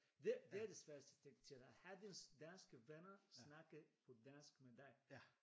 Det det er det sværeste siger jeg til dig have din danske venner snakke på dansk med dig